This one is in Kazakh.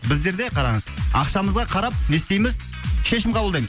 біздерде қараңыз ақшамызға қарап не істейміз шешім қабылдаймыз